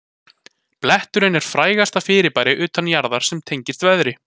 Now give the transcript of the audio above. Bletturinn er frægasta fyrirbæri utan jarðar sem tengist veðri.